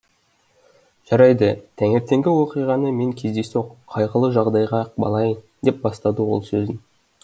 жарайды таңертеңгі оқиғаны мен кездейсоқ қайғылы жағдайға балайын деп бастады ол сөзін